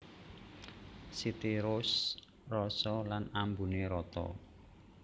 City Roast rasa lan ambuné rata